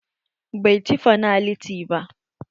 Bai ci fanaliti ba.